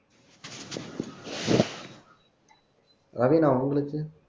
ரவினா உங்களுக்கு